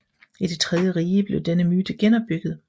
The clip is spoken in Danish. I Det tredje Rige blev denne myte genopbygget